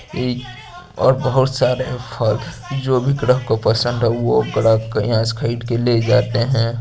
येई और बहोत सारे फल जो भी ग्राहक को पसंद हो ग्राहक यहां से खरीद के ले जाते है।